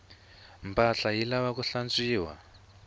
mpahla yi lavaku hlantswiwa